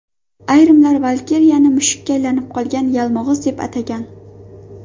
Ayrimlar Valkiriyani mushukka aylanib qolgan yalmog‘iz deb atagan.